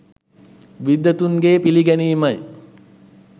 විද්වතුන්ගේ පිළිගැනීමයි